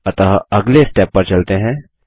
अतः अगले स्टेप पर चलते हैं